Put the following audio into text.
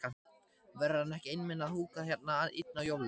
Verður hann ekki einmana að húka hérna einn á jólunum?